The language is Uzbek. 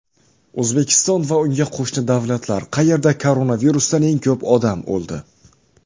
O‘zbekiston va unga qo‘shni davlatlar: qayerda koronavirusdan eng ko‘p odam o‘ldi?.